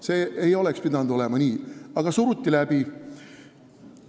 See ei oleks pidanud minema nii, aga see suruti läbi.